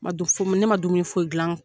Ma dun fɔyi, ne ma dumuni foyi gilan